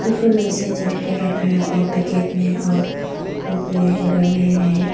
अगर वैसे जम के रखा है और पैकेट में और कोई कोई घर में है।